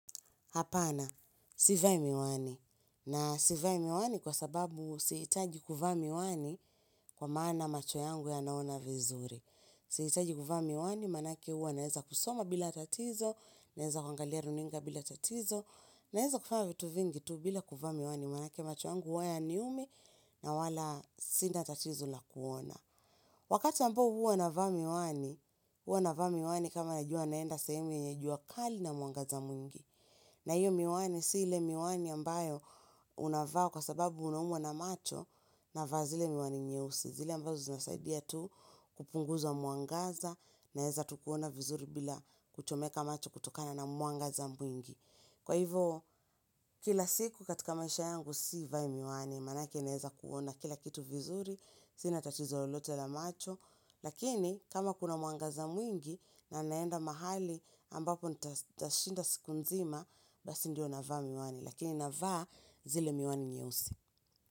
Hapana, sivai miwani. Na sivai miwani kwa sababu sihitaji kuvaa miwani kwa maana macho yangu yanaona vizuri. Sihitaji kuvaa miwani, maanake huwa naeza kusoma bila tatizo, naeza kwangalia runinga bila tatizo, naeza kufa vitu vingi tu bila kuvaa miwani. Maanake macho yangu huwa yaniumi na wala sina tatizo la kuona. Wakati ambao huwa navaa miwani, huwa navaa miwani kama najua naenda sehemu yenye jua kali na mwangaza mwingi. Na hiyo miwani si ile miwani ambayo unavaa kwa sababu unaumwa na macho navaa zile miwani nyeusi. Zile ambazo zinasaidia tu kupunguzwa mwangaza naeza tu kuona vizuri bila kuchomeka macho kutokana na mwangaza mwingi. Kwa hivo kila siku katika maisha yangu sivai miwani maanake naeza kuona kila kitu vizuri. Sina tatizo lolote la macho Lakini kama kuna mwangaza mwingi na naenda mahali ambapo nitashinda siku nzima Basi ndio navaa miwani Lakini navaa zile miwani nyeusi.